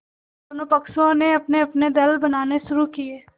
दोनों पक्षों ने अपनेअपने दल बनाने शुरू किये